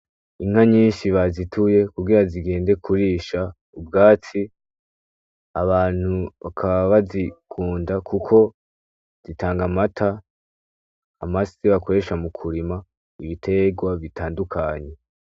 Inka nyinshi bazituye kugira zigende kurish'ubwatsi, abantu bakaba bazikunda kuko zitang'amata, amase bakoresha mukurima, ibiterwa bitandukanye.